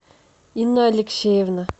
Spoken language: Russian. инна алексеевна